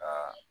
Ka